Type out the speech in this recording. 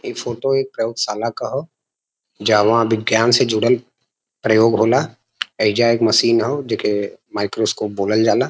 ई फोटो एक प्रयोगशाला का ह जहवां विज्ञान से जुड़ल प्रयाेग होला। एईजा एक मशीन हौ जेके माइक्रोस्कोप बोलल जाला।